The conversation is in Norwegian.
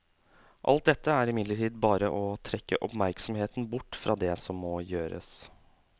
Alt dette er imidlertid bare å trekke oppmerksomheten bort fra det som må gjøres.